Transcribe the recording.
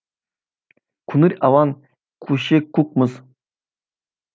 көңіл алаңкөше көк мұз